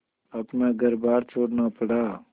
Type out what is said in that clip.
अपना घरबार छोड़ना पड़ा